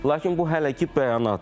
Lakin bu hələ ki bəyanatdır.